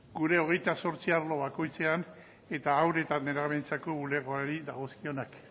gure hogeita zortzi arlo bakoitzean eta haur eta nerabeentzako bulegoari dagozkionak